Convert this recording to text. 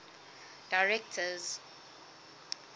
directors